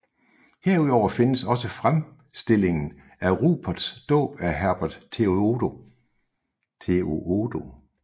Herudover findes også fremstillingen af Ruperts dåb af hertug Theodo